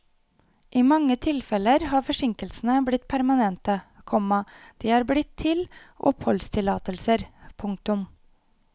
I mange tilfeller har forsinkelsene blitt permanente, komma de er blitt til oppholdstillatelser. punktum